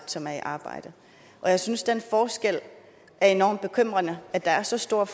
som er i arbejde jeg synes det er enormt bekymrende at der er så stor